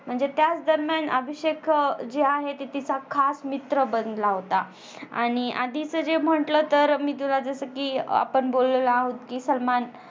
म्हणजेच त्याच दरम्यान अभिषेक जे आहे तीचा खास मित्र बनला होता. आणि आधीच जे म्हटलं तर जस कि आपण बोललेलो आहोत म्हणजे सलमान